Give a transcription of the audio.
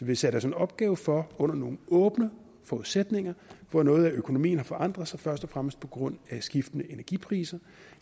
vi satte os en opgave for under nogle åbne forudsætninger hvor noget af økonomien har forandret sig først og fremmest på grund af skiftende energipriser